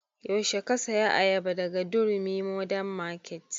Yaushe ka saya ayaba daga durumi modern market?